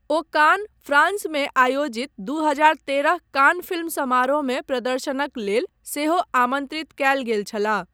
ओ Cannes, फ्रांसमे आयोजित दू हजार तेरह कान फिल्म समारोहमे प्रदर्शनक लेल सेहो आमन्त्रित कयल गेल छलाह।